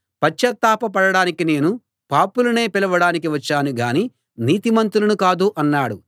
పశ్చాత్తాప పడడానికి నేను పాపులనే పిలవడానికి వచ్చాను గాని నీతిమంతులను కాదు అన్నాడు